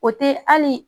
O te hali